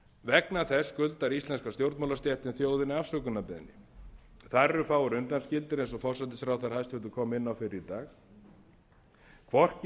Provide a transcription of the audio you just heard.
vegna þess skuldar íslenska stjórnmálastéttin þjóðinni afsökunarbeiðni þar eru fáir undanskildir eins og hæstvirtur forsætisráðherra kom inn á fyrr í dag hvorki